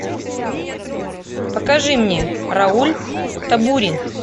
покажи мне рауль табюрин